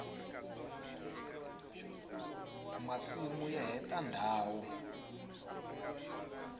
masimu ya heta ndhawu